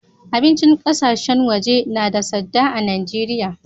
Abincin ƙasashen waje na da sadda a'Nijeria.